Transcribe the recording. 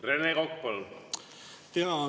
Rene Kokk, palun!